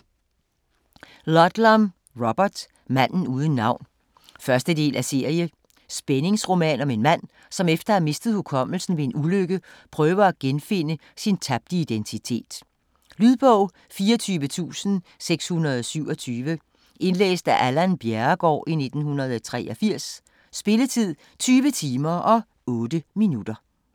Ludlum, Robert: Manden uden navn 1. del af serie. Spændingsroman om en mand, som efter at have mistet hukommelsen ved en ulykke prøver at genfinde sin tabte identitet. Lydbog 24627 Indlæst af Allan Bjerregaard, 1983. Spilletid: 20 timer, 8 minutter.